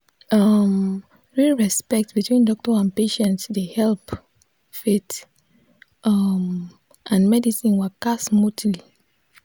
um real respect between doctor and patient dey help faith um and medicine waka smoothly.